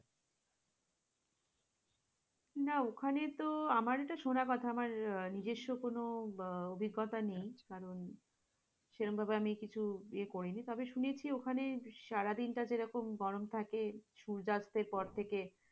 না ওখানে তো আমারই তো সোনা কথা আমার নিজস্ব কোন অভিজ্ঞতা নেই কারণ, সেরকমভাবে আমি কিছুই করেনি তবে শুনেছি, ওখানে সারাদিনটা যেমন গরম থাকে সূর্যাস্তের পর থেকে,